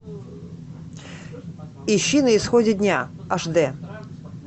ищи на исходе дня аш дэ